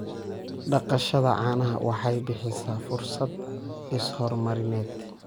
Dhaqashada caanaha waxay bixisaa fursado is-horumarineed.